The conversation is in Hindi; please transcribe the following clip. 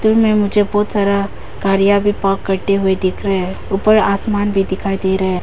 में मुझे बहुत सारा गाड़ियां भी पार्क करते हुए दिख रहे हैं ऊपर आसमान भी दिखाई दे रहा है।